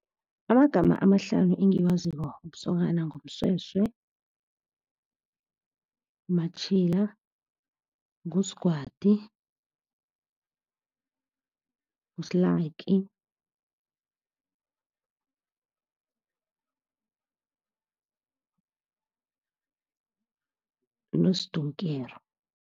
Amagama amahlanu engiwaziko wobusokana nguMsweswe, nguMatjhila, nguSgwadi, nguSlaki noSdonkero.